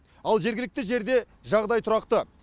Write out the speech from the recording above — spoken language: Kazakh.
ал жергілікті жерде жағдай тұрақты